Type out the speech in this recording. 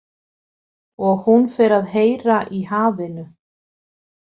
Og hún fer að heyra í hafinu.